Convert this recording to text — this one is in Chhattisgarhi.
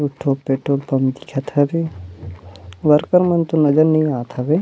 दू ठो पेट्रोल पंप दिखत हवे वर्कर मन तो नजर नहीं आथ हवे।